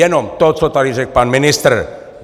Jenom to, co tady řekl pan ministr.